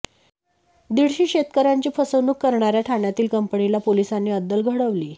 दीडशे शेतकऱ्यांची फसवणूक करणाऱ्या ठाण्यातील कंपनीला पोलिसांनी अद्दल घडवलीय